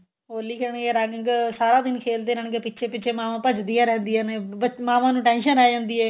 ਹੋਲੀ ਖੇਲਣ ਗੇ ਰੰਗ ਸਾਰਾ ਦਿਨ ਖੇਲਦੇ ਰਹਿਣਗੇ ਪਿੱਛੇ ਪਿੱਛੇ ਮਾਵਾਂ ਭੱਜਦੀਆਂ ਰਹਿੰਦੀਆਂ ਨੇ ਮਾਵਾਂ ਨੂੰ tension ਆ ਜਾਂਦੀ ਏ